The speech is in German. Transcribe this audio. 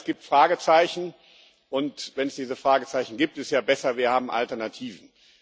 Denn es gibt Fragezeichen, und wenn es diese Fragezeichen gibt, ist es ja besser, wir haben Alternativen.